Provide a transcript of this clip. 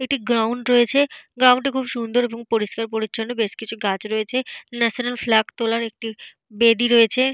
এটি গ্রাউন্ড রয়েছে। গ্রাউন্ড টি খুব সুন্দর এবং পরিষ্কার পরিচ্ছন্ন। বেশ কিছু গাছ রয়েছে। ন্যাশনাল ফ্ল্যাগ তোলার একটি বেদি রয়েছে।